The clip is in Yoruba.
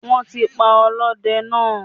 Wọ́n ti pa ọlọ́dẹ náà